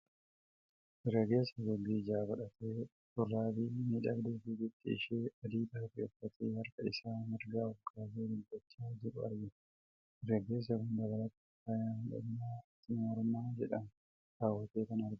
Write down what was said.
Dargaggeessa haguuggii ijaa godhatee, shurraabii miidhagduu bifti ishee adii taate uffatee harka isaa mirgaa ol kaasee dubbachaa jiru argina. Dargaggeessi kun dabalataan faaya miidhaginaa amartii mormaa jedhamu kaawwatee kan argamudha.